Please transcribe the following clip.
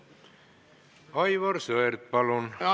Aivar Sõerd, palun!